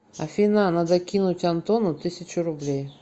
афина надо кинуть антону тысячу рублей